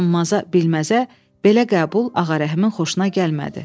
Tanınmaza, bilməzə belə qəbul Ağarəhmin xoşuna gəlmədi.